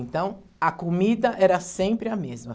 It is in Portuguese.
Então, a comida era sempre a mesma.